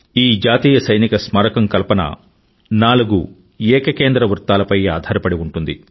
ఈ జాతీయ సైనిక స్మారకం కల్పన నాలుగు ఏక కేంద్ర వృత్తాలపై ఫౌర్ కాన్సెంట్రిక్ సర్కిల్స్ ఆధారపడి ఉంటుంది